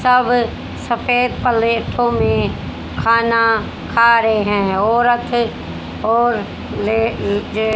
सब सफेद पलेटों में खाना खा रहे हैं औरत और ले जे--